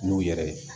N'u yɛrɛ ye